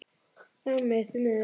Nammi, því miður.